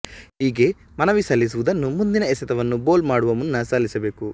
ಹೀಗೆ ಮನವಿ ಸಲ್ಲಿಸುವುದನ್ನು ಮುಂದಿನ ಎಸೆತವನ್ನು ಬೋಲ್ ಮಾಡುವ ಮುನ್ನ ಸಲ್ಲಿಸಬೇಕು